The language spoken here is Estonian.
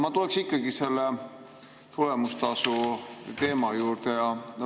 Ma tuleksin ikkagi selle tulemustasu teema juurde.